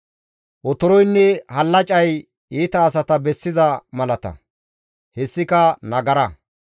Otoroynne hallacay iita asata bessiza malata; hessika nagara.